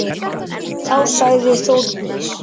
Þá sagði Þórdís: